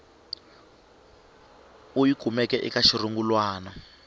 u yi kumeke eka xirungulwana